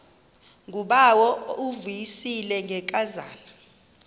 ngubawo uvuyisile ngenkazana